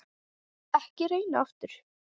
Ekki að reyna aftur.